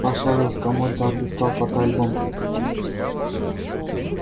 пошарил в комоде отыскал фотоальбом